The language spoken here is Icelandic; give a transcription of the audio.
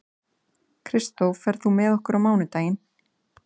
Kristó, ferð þú með okkur á mánudaginn?